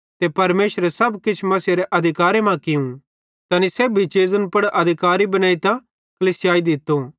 ते परमेशरे सब किछ मसीहेरे अधिकारे मां कियूं तैनी सेब्भी चीज़न पुड़ अधिकारी बनेइतां कलीसिया दित्तो